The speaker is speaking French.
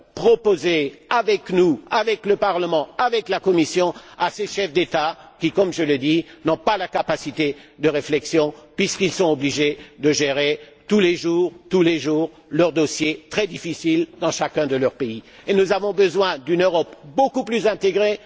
Faites des propositions avec nous, avec le Parlement, avec la Commission, à ces chefs d'État qui, comme je le dis, n'ont pas la capacité de réflexion puisqu'ils sont obligés de gérer tous les jours leurs dossiers, très difficiles, dans chacun de leur pays. Nous avons besoin d'une Europe beaucoup plus intégrée.